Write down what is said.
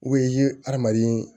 i ye adamaden